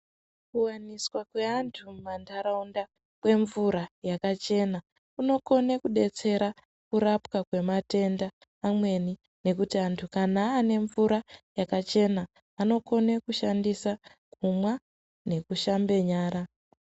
Kuwaniswa kweantu mumandaraunda kwemvura yakachena kunokona kudetsera kurapwa kwematenda amweni nekuti antu kana ane mvura yakachena anokone kushandisa kumwa nekushambe nyara.